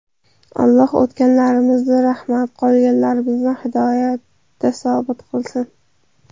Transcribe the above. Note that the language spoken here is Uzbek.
Alloh o‘tganlarimizni rahmat, qolganlarimizni hidoyatda sobit qilsin!